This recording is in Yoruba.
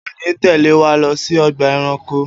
O ò ní tè̩lé wa lo̩ sí o̩gbà e̩ranko!